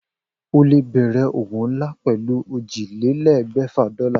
O lè bè̩rè̩ òwò nlá pè̩lú ójìlélé̩gbè̩fà dó̩là